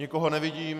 Nikoho nevidím.